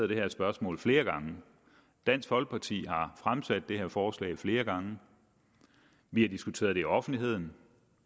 det her spørgsmål flere gange dansk folkeparti har fremsat det her forslag flere gange vi har diskuteret det i offentligheden